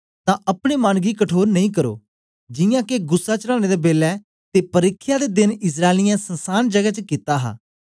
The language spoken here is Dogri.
तां अपने मन गी कठोर नेई करो जियां के गुस्सा चढ़ाने दे बेलै ते परिख्या दे देन इस्राएलियें संसान जगै च कित्ता हा